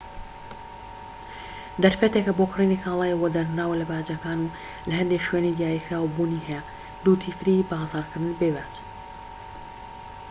بازارکردنی بێ باج duty free دەرفەتێکە بۆ کڕینی کاڵای وەدەرنراو لە باجەکان و لە هەندێك شوێنی دیاریکراو بوونی هەیە